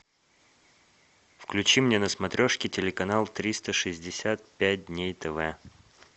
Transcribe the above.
включи мне на смотрешке телеканал триста шестьдесят пять дней тв